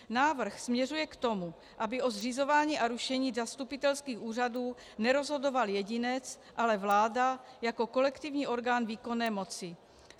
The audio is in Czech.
Návrh směřuje k tomu, aby o zřizování a rušení zastupitelských úřadů nerozhodoval jedinec, ale vláda jako kolektivní orgán výkonné moci.